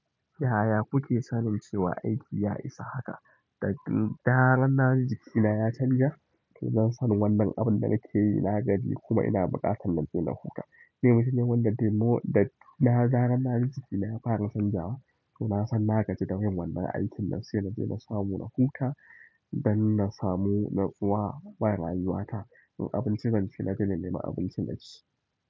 Yaya kuke sanin cewa aiki ya isa haka? Da zarar naji jikina ya canja, to zan san wannan abin da nake yi na gaji kuma ina buƙatar na je na huta. Ce ne wanda nemo da na naga jikina ya fara canjawa, to na san na gaji dayin aikin nam sai muje mu samu na huta don na samu na tsuwa wa rayuwata. Abinci zan ci na daina neman abinci na ci.